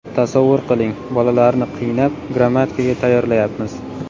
Tasavvur qiling, bolalarni qiynab, grammatikaga tayyorlayapmiz.